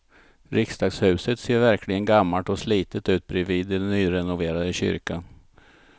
Riksdagshuset ser verkligen gammalt och slitet ut bredvid den nyrenoverade kyrkan.